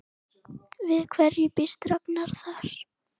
Við hverju býst Ragnar þar?